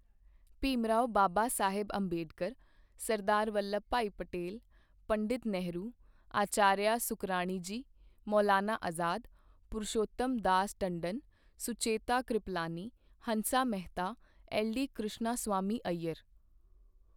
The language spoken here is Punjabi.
ਭੀਮਰਾਓ ਬਾਬਾ ਸਾਹਿਬ ਅੰਬੇਡਕਰ, ਸਰਦਾਰ ਵੱਲਭ ਭਾਈ ਪਟੇਲ, ਪੰਡਿਤ ਨਹਿਰੂ, ਅਚਾਰੀਆ ਸੁਕਰਾਣੀ ਜੀ, ਮੌਲਾਨਾ ਅਜਾਦ, ਪੁਰੂਸ਼ੋਤਮ ਦਾਸ ਟੰਡਨ, ਸੁਚੇਤਾ ਕ੍ਰਿਪਲਾਨੀ, ਹੰਸਾ ਮੈਹਤਾ, ਐੱਲਡੀ ਕ੍ਰਿਸ਼ਣਾ ਸੁਵਾਮੀ ਅੱਯਰ